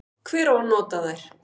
Hver á nota þær?